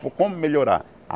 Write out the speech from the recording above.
Como melhorar?